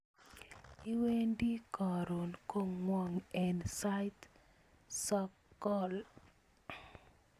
Iwendi koron kongwak en sait sogol